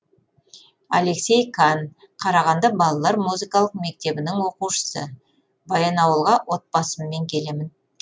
алексей кан қарағанды балалар музыкалық мектебінің оқушысы баянауылға отбасыммен келемін